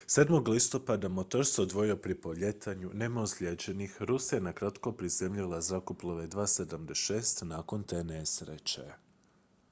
7. listopada motor se odvojio pri polijetanju nema ozlijeđenih rusija je nakratko prizemljila zrakoplove ii-76 nakon te nesreće